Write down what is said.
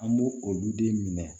An b'o olu den minɛ